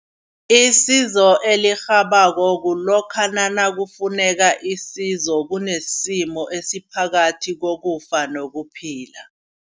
Isizo elirhabako kulokha nakufuneka isizo kunesimo esiphakathi kokufa nokuphila.